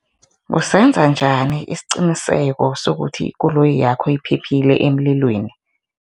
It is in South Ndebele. Usenza njani isiqiniseko sokuthi ikoloyi yakho iphephile emlilweni?